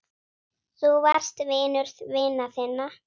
Þú varst vinur vina þinna.